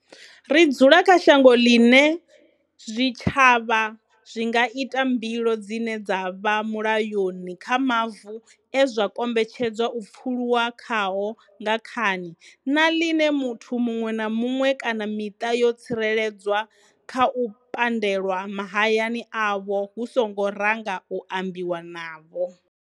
Ri dzula kha shango ḽine zwitshavha zwi nga ita mbilo dzine dza vha mulayoni kha mavu e zwa kombetshedzwa u pfuluwa khao nga khani, na ḽine muthu muṅwe na muṅwe kana miṱa yo tsireledzwa kha u pandelwa mahayani avho hu songo ranga u ambiwa navho.